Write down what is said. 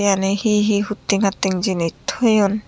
eyani hi hi hutting hatting jinis toyon.